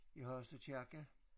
I Hasle Kirke